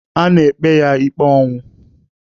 A na-ekpe ya ikpe ọnwụ.